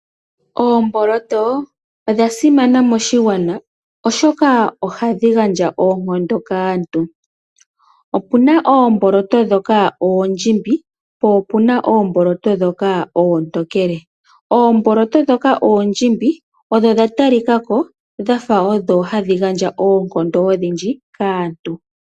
Oomboloto odha simana moshigwana oshoka ohadhi gandja oonkondo kaantu. Opu na oomboloto ndhoka oondjimbi oshowo oomboloto ndhoka oontokele. Oomboloto oondjimbi odha talika ko dhafa odho hadhi gandja oonkondo odhindji kaantu.